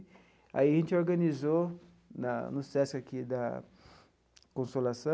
Aí a gente organizou, na no SESC aqui da Consolação,